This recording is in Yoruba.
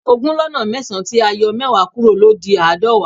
Ogún lọ́nà mẹ́sàn tí a yọ mẹ́wàá kúrò ló di aadọwa